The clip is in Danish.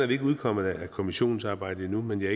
vi ikke udkommet af kommissionsarbejdet endnu men